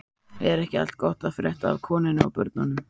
Er ekki allt gott að frétta af konunni og börnunum?